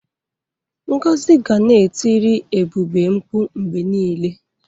Ngozi ga na-etiri Ebube mkpụ mgbe niile.